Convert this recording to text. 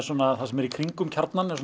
það sem er í kringum Kjarnann það